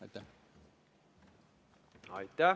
Aitäh!